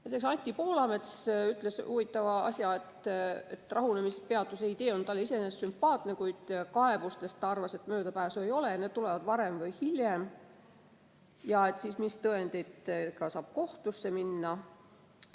Näiteks ütles Anti Poolamets huvitava asja, et rahunemispeatuse idee on talle iseenesest sümpaatne, kuid kaebustest, ta arvas, möödapääsu ei ole, need tulevad varem või hiljem, ja küsis, mis tõenditega saab kohtusse minna.